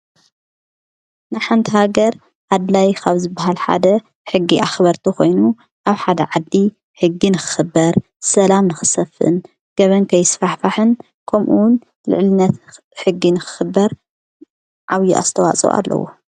ንሓንታሃገር ኣድላይ ኻብ ዝ ብሃልሓደ ሕጊ ኣኽበርተ ኾይኑ ኣብ ሓደ ዓዲ ሕጊ ንክኽበር ሰላም ንኽሰፍን ገበንከይስፋሕፋሕን ኸምኡውን ልዕሊነት ሕጊንክኽበር ዓብዪ ኣስተዋጾ ኣለዉ።